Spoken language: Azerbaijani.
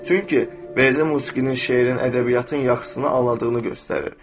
Çünki bəzən musiqinin, şeirin, ədəbiyyatın yaxşısını aldığını göstərir.